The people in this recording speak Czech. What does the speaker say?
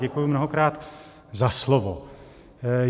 Děkuji mnohokrát za slovo.